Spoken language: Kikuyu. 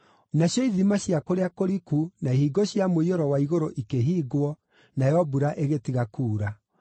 Nacio ithima cia kũrĩa kũriku na ihingo cia mũiyũro wa igũrũ ikĩhingwo, nayo mbura ĩgĩtiga kuura.